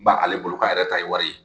Ba ale bolo k'a yɛrɛ ta ye wari ye